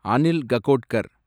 Anil Kakodkar